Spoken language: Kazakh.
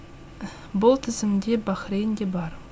бұл тізімде бахрейн де бар